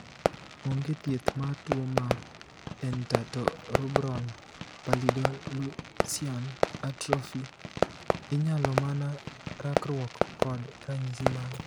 Onge thieth mar tuo mar dentatorubral pallidoluysian atrophy, inyalo mana rakruok kod ranyisi mage.